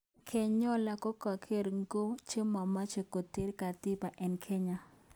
Kenyola kokoker ngo chemache kuter katiba eng kenya